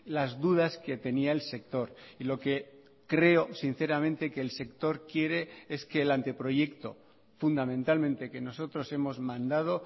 las dudas que tenía el sector y lo que creo sinceramente que el sector quiere es que el anteproyecto fundamentalmente que nosotros hemos mandado